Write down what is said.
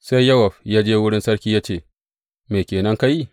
Sai Yowab ya je wurin sarki ya ce, Me ke nan ka yi?